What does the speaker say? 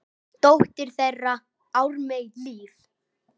Dóttir þeirra: Ármey Líf.